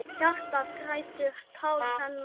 Hjartað grætur, tár renna.